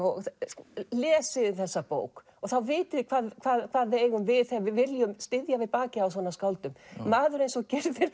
sko lesið þið þessa bók og þá vitið þið hvað við eigum við þegar við viljum styðja við bakið á svona skáldum maður eins og